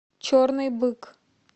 черный бык